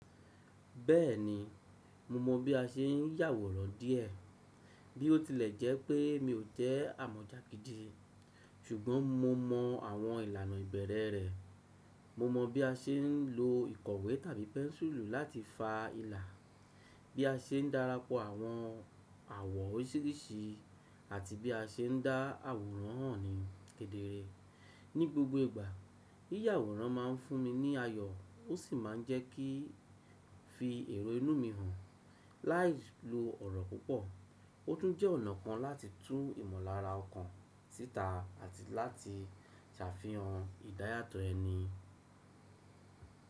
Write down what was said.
Bẹ́ẹ̀ni, mo mọ bí a ṣe n yàwòrán díẹ̀. Bí ó tilẹ̀ jẹ́ pé mi ò jẹ́ àmọ̀jà gídí, ṣùgbọ́n mo mọ àwọn ìlànà ìbẹ̀rẹ̀ rẹ̀. Mo mọ bí a ṣe ń lo ìkọ̀wé tàbí pẹ́ńsùlù láti fa ìlà, bí a ṣe ń darapọ̀ àwọn àwọ̀ oríṣiríṣi àti bí a ṣe ń dá àwòrán hàn ní kedere. Ní gbogbo ìgbà, yíyàwòrán máa n fún mi ní ayọ̀ ó sì má n jẹ́ kí n fi èrò inú mi hàn láì lo ọ̀rọ̀ púpọ̀. Ó tún jẹ́ ọ̀nà kan láti tún ìmọ̀lára ọkàn síta àti láti ṣàfihàn ìdáyàtọ̀ ẹni.